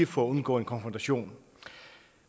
for at undgå en konfrontation